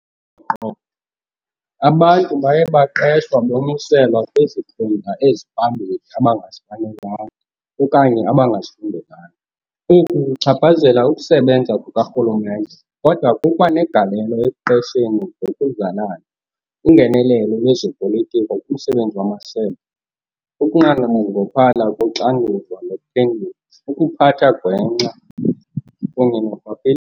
qo, abantu baye baqeshwa bonyuselwa kwizikhundla eziphambili abangazifanelanga okanye abangazifundelanga. Oku kuchaphazela ukusebenza kukarhulumente, kodwa kukwa negalelo ekuqesheni ngokuzalana, ungenelelo lwezopolitiko kumsebenzi wamasebe, ukunqongophala koxanduva lokuphendula, ukuphatha gwenxa kunye norhwaphili.